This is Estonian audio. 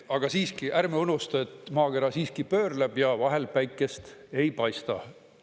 Aga siiski, ärme unusta, et maakera pöörleb ja vahel päikest ei paista.